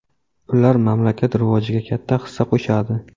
Ular mamlakat rivojiga katta hissa qo‘shadi.